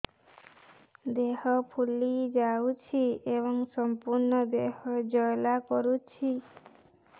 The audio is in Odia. ଦେହ ଫୁଲି ଯାଉଛି ଏବଂ ସମ୍ପୂର୍ଣ୍ଣ ଦେହ ଜ୍ୱାଳା କରୁଛି